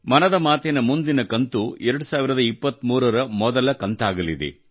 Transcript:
ಮನದ ಮಾತಿನ ಮುಂದಿನ ಕಂತು 2023 ರ ಮೊದಲ ಕಂತಾಗಲಿದೆ